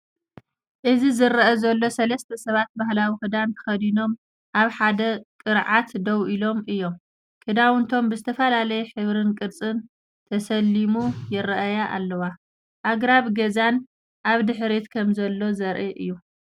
እዚ ዝረአ ዘሎ ሰለስተ ሰባት ባህላዊ ክዳን ተኸዲኖም ኣብ ሓደ ቅርዓት ደው ኢሎም እዮም። ክዳውንቶም ብዝተፈላለየ ሕብርን ቅርጽን ተሰሊሙ ይረኣያ ኣለዋ፡ ኣግራብን ገዛን ኣብ ድሕሪት ከምዘሎ ዘርኢ'ዩ።